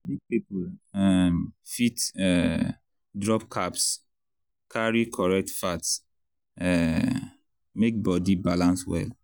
big people um fit um drop carbs carry correct fat um make body balance well.